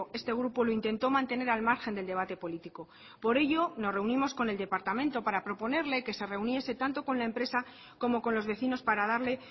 este grupo lo intentó mantener al margen del debate político por ello nos reunimos con el departamento para proponerle que se reuniese tanto con la empresa como con los vecinos para darle